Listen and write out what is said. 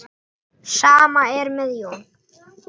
Sama er með Jón.